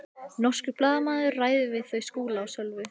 Norskur blaðamaður ræðir við þau Skúla og Svövu.